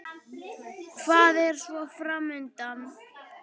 Hvað er svo fram undan?